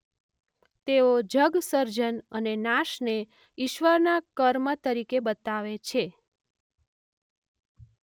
તેઓ જગસર્જન અને નાશને ઇશ્વરના કર્મ તરીકે બતાવે છે.